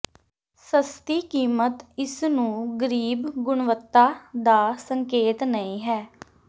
ਸਸਤੀ ਕੀਮਤ ਇਸ ਨੂੰ ਗਰੀਬ ਗੁਣਵੱਤਾ ਦਾ ਸੰਕੇਤ ਨਹੀ ਹੈ